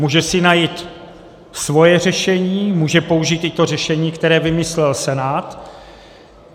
Může si najít svoje řešení, může použít i to řešení, které vymyslel Senát.